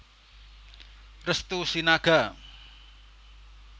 Restu Sinaga